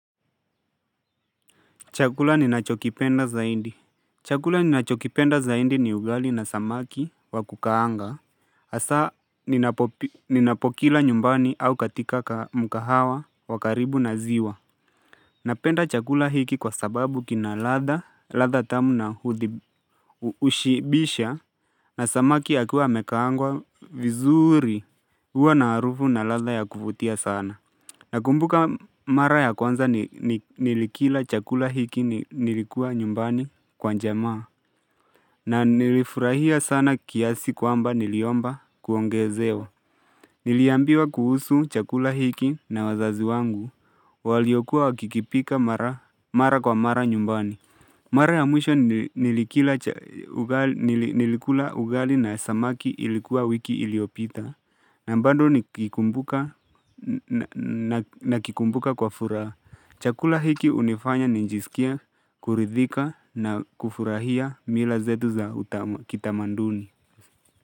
Chakula ninachokipenda zaindi. Chakula ninachokipenda zaidi ni ugali na samaki wa kukaanga hasa ninapokila nyumbani au katika ka mukahawa wa karibu na ziwa Napenda chakula hiki kwa sababu kina ladha, ladha tamu na huthibi hushibisha na samaki akuwe amekaangwa vizuri huwa na harufu na ladha ya kuvutia sana Nakumbuka mara ya kwanza ni ni nilikila chakula hiki ni nilikuwa nyumbani kwa jamaa. Na nilifurahia sana kiasi kwamba niliomba kuongezewa. Niliambiwa kuhusu chakula hiki na wazazi wangu. Waliokuwa wakikipika mara mara kwa mara nyumbani. Mara ya mwisho nili nilikila cha ugali nili nilikula ugali na samaki ilikuwa wiki iliyopita. Na bado ni kikumbuka na na nakikumbuka kwa furaha. Chakula hiki hunifanya nijisikia kuridhika na kufurahia mila zetu za utama kitamanduni.